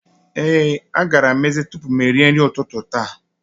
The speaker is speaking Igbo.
Ee, agara m ezé tupu m erie nri ụtụtụ a.